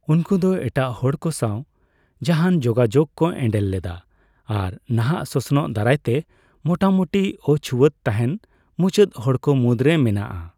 ᱩᱱᱠᱩ ᱫᱚ ᱮᱴᱟᱜ ᱦᱚᱲᱠᱚ ᱥᱟᱣ ᱡᱟᱦᱟᱱ ᱡᱳᱜᱟᱡᱳᱜᱽ ᱠᱚ ᱮᱸᱰᱮᱞ ᱞᱮᱫᱟ ᱟᱨ ᱱᱟᱦᱟᱜ ᱥᱚᱥᱱᱚᱜ ᱫᱟᱨᱟᱭᱼᱛᱮ ᱢᱚᱴᱟᱢᱚᱴᱤ ᱚᱪᱷᱩᱣᱟᱹᱛ ᱛᱟᱦᱮᱱ ᱢᱩᱪᱟᱹᱫ ᱦᱚᱲᱠᱚ ᱢᱩᱫᱽᱨᱮ ᱢᱮᱱᱟᱜᱼᱟ ᱾